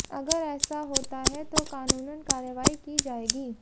अगर ऐसा होता है तो कानूनन कार्रवाई की जाएगी